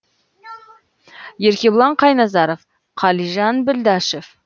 еркебұлан қайназаров қалижан білдашев